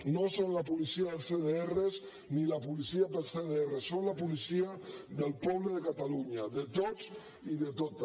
no són la policia dels cdr ni la policia per als cdr són la policia del poble de catalunya de tots i de totes